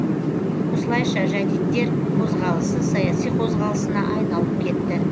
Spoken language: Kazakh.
осылайша жәдиттер қозғалысы саяси қозғалысына айналып кетті